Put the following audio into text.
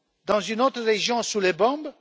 Dans une autre région sous les bombes?